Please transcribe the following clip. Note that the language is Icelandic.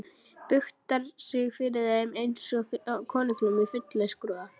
Buktar sig fyrir þeim einsog fyrir konungum í fullum skrúða.